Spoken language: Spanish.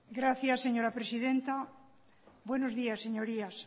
gracias señora presidenta buenos días señorías